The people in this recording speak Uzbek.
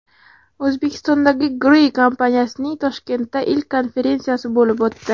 O‘zbekistondagi Gree kompaniyasining Toshkentda ilk konferensiyasi bo‘lib o‘tdi.